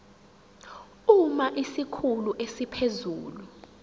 uma isikhulu esiphezulu